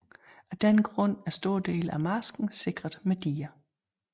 Af denne grund er store dele af marsken sikret med diger